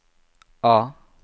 A